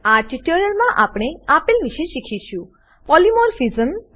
આ ટ્યુટોરીયલમાં આપણે આપેલ વિશે શીખીશું પોલિમોર્ફિઝમ પોલીમોર્ફીઝમ